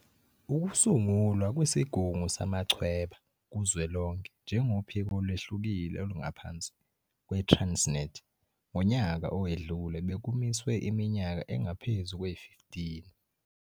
Ukusungulwa kweSigungu Samachweba Kuzwelonke njengophiko olwehlukile olungaphansi kwe-Transnet ngonyaka owedlule bekumiswe iminyaka engaphezu kwe-15.